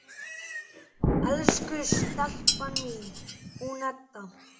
Elsku stelpan mín, hún Edda!